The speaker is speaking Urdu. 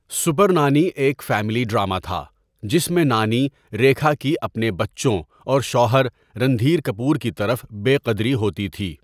سپر نانی ایک فیملی ڈرامہ تھا، جس میں نانی، ریکھا کی اپنے بچوں اور شوہر، رندھیر کپور کی طرف بے قدری ہوتی تھۍ۔